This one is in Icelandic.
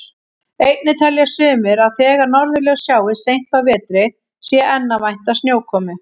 Einnig telja sumir að þegar norðurljós sjáist seint á vetri sé enn að vænta snjókomu.